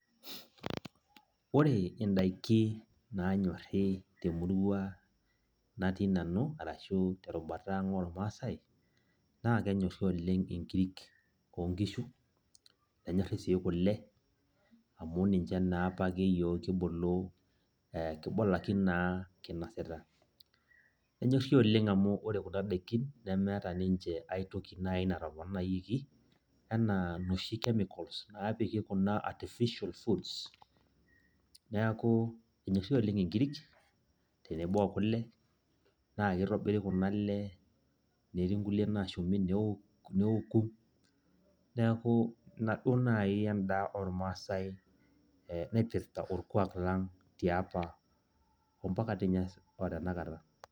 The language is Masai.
ore idaiki naanyori temurua natii nanu arashu terubata natii nanu ormaasae. naa kenyorri oleng nkirik oo nkishu, nenyorri sii kule. amu ninche apake naa iyiook kibulu, kibulaki naa kinosita. nenyorri oleng amu ore kuna daikin nemeeta ninche toki naaji natoponayioki anaa inoshi chemicals naapiki kun artificial foods neeku. enyorri oshi oleng nkirik tenebo okule. naa kitobiri kuna le etii nkulie naashumi neeku. neeku ina duoo naji edaa ormaasae naipirta orkuaak lenye tiapa ompak di ninye tenakata.